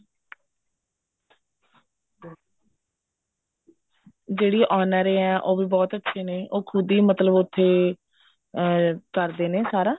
ਜਿਹੜੀ owner ਐ ਉਹ ਵੀ ਬਹੁਤ ਅੱਛੇ ਨੇ ਉਹ ਖੁਦ ਹੀ ਮਤਲਬ ਉੱਥੇ ਅਹ ਕਰਦੇ ਨੇ ਸਾਰਾ